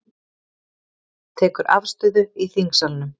Tekur afstöðu í þingsalnum